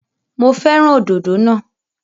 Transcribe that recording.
Mo fẹ́ràn òdòdó náà.